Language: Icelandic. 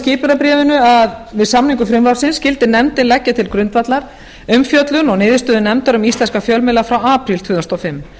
skipunarbréfinu að við samningu frumvarpsins skyldi nefndin leggja til grundvallar umfjöllun og niðurstöður nefndar um íslenska fjölmiðla frá apríl tvö þúsund og fimm